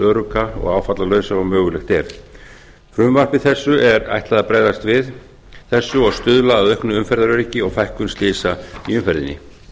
örugga og áfallalausa og mögulegt er frumvarpi þessu er ætlað að bregðast við þessu og stuðla að auknu umferðaröryggi og fækkun slysa í umferðinni